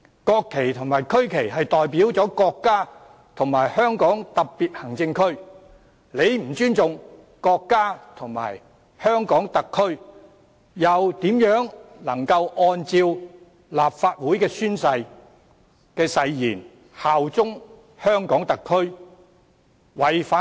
國旗及區旗代表了國家和香港特別行政區，如不尊重國家和香港特區，又如何能按照立法會誓言效忠香港特區？